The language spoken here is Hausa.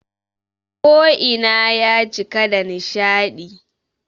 Ko ina ya cika da nishaɗi